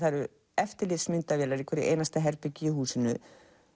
eru eftirlitsmyndavélar í hverju herbergi í húsinu